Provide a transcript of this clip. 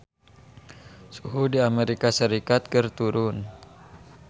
Suhu di Amerika Serikat keur turun